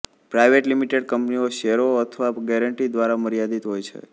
private limited કંપનીઓ શેરો અથવા ગેરંટી દ્વારા મર્યાદિત હોય છે